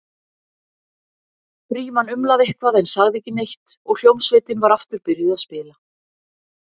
Frímann umlaði eitthvað en sagði ekki neitt og hljómsveitin var aftur byrjuð að spila.